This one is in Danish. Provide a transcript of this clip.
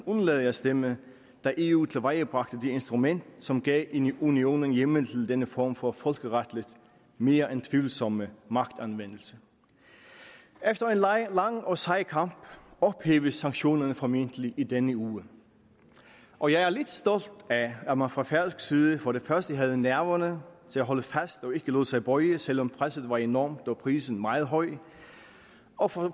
undlade at stemme da eu tilvejebragte det instrument som gav unionen en hjemmel til denne form for folkeretligt mere end tvivlsomme magtanvendelse efter en lang og sej kamp ophæves sanktionerne formentlig i denne uge og jeg er lidt stolt af at man fra færøsk side for det første havde nerverne til at holde fast og ikke lod sig bøje selv om presset var enormt og prisen meget høj og for